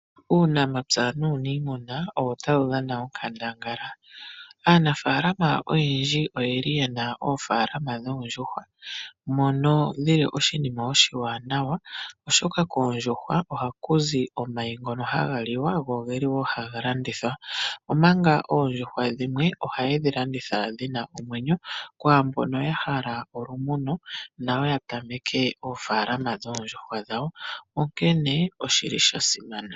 Uunamapya nuunimuna owo tawu dhana onkandangala. Aanafalama oyendji oye li yena oofalama dhoondjuhwa, mono dhi li oshinima oshiwanawa oshoka koondjuhwa ohaku zi omayi ngobo haga liwa, go ogeli wo haga landithwa. Omanga oondjuhwa dhimwe ohaye dhi landitha dhina omwenyo kwaambono ya hala olumuno, nayo ya tameke oofalama dhoondjuhwa dhawo. Onkene oshi li sha simana.